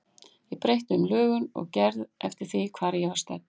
Ég breytti um lögun og gerð eftir því hvar ég var stödd.